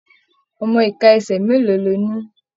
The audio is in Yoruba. Ọmọ ika ẹsẹ mélòó lọ ní?